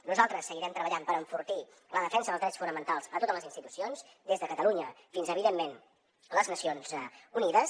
nosaltres seguirem treballant per enfortir la defensa dels drets fonamentals a totes les institucions des de catalunya fins a evidentment les nacions unides